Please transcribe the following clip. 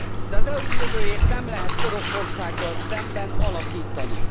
De az EU jövőjét nem lehet Oroszországgal szemben alakítani.